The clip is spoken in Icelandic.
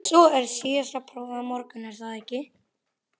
Svo er síðasta prófið á morgun, er það ekki?